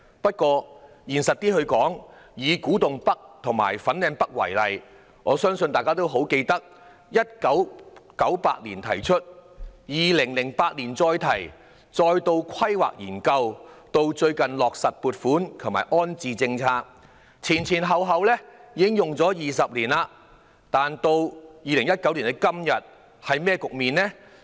不過，現實一點地說，以古洞北及粉嶺北為例，我相信大家都記得，有關建議在1998年提出 ，2008 年重提，再進行規劃研究，直至最近落實撥款及安置政策，前後已經20年，但到2019年的今天是甚麼局面呢？